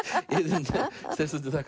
Iðunn Steinsdóttir þakka